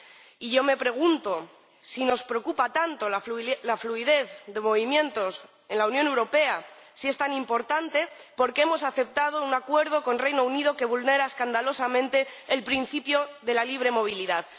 Y yo me pregunto si nos preocupa tanto la fluidez de movimientos en la Unión Europea, si es tan importante, ¿por qué hemos aceptado un acuerdo con el Reino Unido que vulnera escandalosamente el principio de la libre circulación?